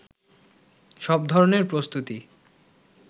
সব ধরনের প্রস্তুতি